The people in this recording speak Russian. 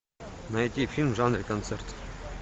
найти фильм в жанре концерт